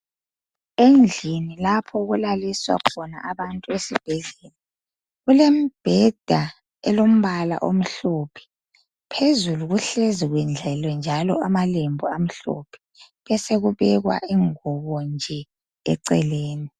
Endlini lapho okulaliswa khona abantu esibhedlela. Kulembheda elombala omhlophe. Phezulu kuhlezi kwedlaliwe njalo amalembu amhlophe kwessekubekwa unguwonje eceleni.